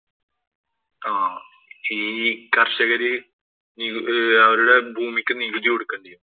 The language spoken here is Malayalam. ആഹ് ഈ കര്‍ഷകര് അവരുടെ ഭൂമിക്കു നികുതി കൊടുക്കേണ്ടി വന്നു.